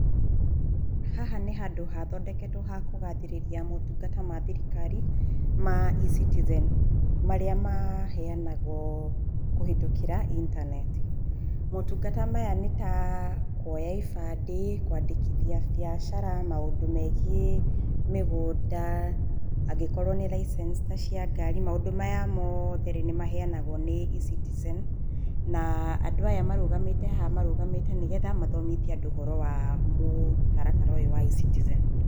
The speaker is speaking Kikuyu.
Haha nĩ handũ hathondeketwo ha kũgathĩrĩria motungata ma thirikari ma eCitizen marĩa maheanagwo kũhetũkĩra itaneti. Motungata maya nĩ ta kuoya ibandĩ, kwandĩkithia biacara, maũndũ megiĩ mĩgũnda, angĩkorwo nĩ license ta cia ngari. Maũndũ maya mothe nĩ maheanagwo nĩ eCitizen na andũ aya marũgamĩte haha marũgamĩte nĩ getha mathomithie andũ ũhoro wa mũtaratara ũyũ wa eCitizen.